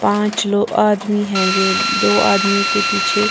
पांच लो आदमी है ये दो आदमियों के पीछे--